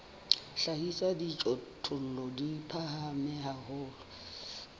hlahisa dijothollo di phahame haholo